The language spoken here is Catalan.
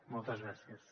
moltes gràcies